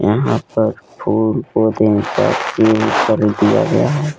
यहा पर फूल दिया गया है।